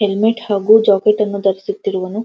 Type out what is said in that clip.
Helmet ಹಾಗು jacket ಅನ್ನು ಧರಿಸುತ್ತಿರವನು.